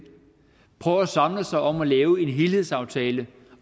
prøver at samles om at lave en helhedsaftale